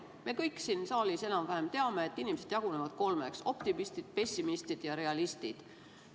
Me kõik siin saalis enam-vähem teame, et inimesed jagunevad kolmeks: optimistid, pessimistid ja realistid.